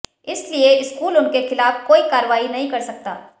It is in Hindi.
इसलिए स्कूल उनके खिलाफ कोई कार्रवाई नहीं कर सकता